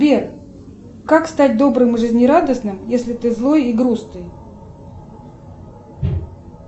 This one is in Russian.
сбер как стать добрым и жизнерадостным если ты злой и грустный